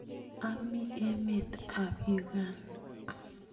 Ami emet ap Uganda.